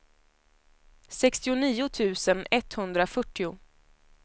sextionio tusen etthundrafyrtio